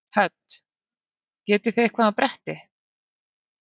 Hödd: Getið þið eitthvað á bretti?